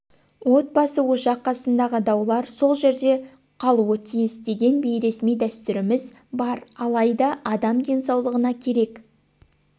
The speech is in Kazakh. от басы ошақ қасындағы даулар сол жерде қалуытиіс деген бейресми дәстүріміз бар алайда адам денсаулығына керек